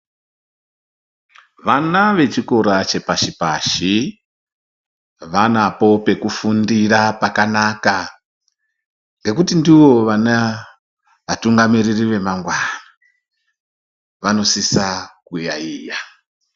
Vana vechikora chepashi pashi vanapo pekufundira pakanaka ngekuti ndivo vana vatungamiriri vamangwani vanosisa kuyaiya.